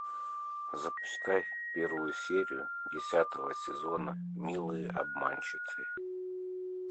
запускай первую серию десятого сезона милые обманщицы